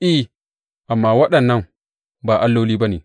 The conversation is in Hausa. I, amma waɗannan ba alloli ba ne!